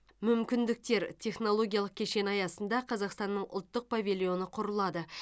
мүмкіндіктер технологиялық кешені аясында қазақстанның ұлттық павильоны құрылады